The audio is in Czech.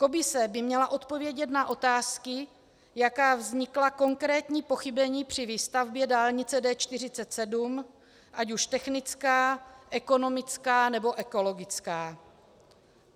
Komise by měla odpovědět na otázky, jaká vznikla konkrétní pochybení při výstavbě dálnice D47, ať už technická, ekonomická, nebo ekologická.